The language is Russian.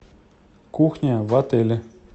кухня в отеле